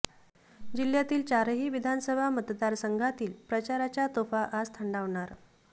जिल्ह्यातील चारही विधानसभा मतदार संघातील प्रचाराच्या तोफा आज थंडावणार